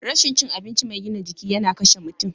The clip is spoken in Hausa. Rashin cin abinci mai gina jiki yana kashe mutum.